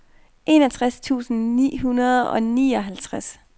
enogtres tusind ni hundrede og nioghalvtreds